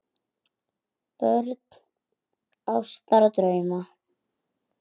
Börn ástar og drauma